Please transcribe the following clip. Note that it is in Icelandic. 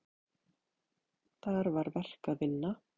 Þar var verk að vinna.